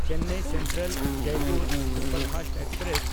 Chennai ᱥᱮᱱᱴᱨᱟᱞ–ᱡᱚᱭᱯᱩᱨ superfast express